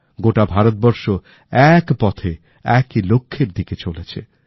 গোটা ভারত বর্ষ এক পথে একই লক্ষ্যের দিকে চলেছে